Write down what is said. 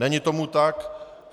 Není tomu tak.